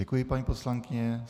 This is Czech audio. Děkuji, paní poslankyně.